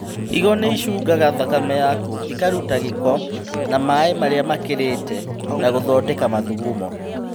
Higo nĩicungaga thakame yaku, ikaruta gĩko na maĩ marĩa makĩrĩte na gũthondeka mathugumo